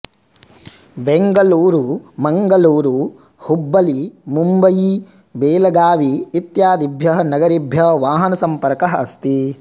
बेङ्गळूरु मङ्गळूरु हुब्बळ्ळी मुम्बयी बेलगावी इत्यादिभ्यः नगरेभ्यः वाहनसम्पर्कः अस्ति